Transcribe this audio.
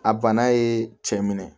A bana ye cɛ minɛ